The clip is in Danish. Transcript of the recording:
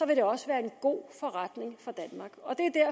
vil det også være en god forretning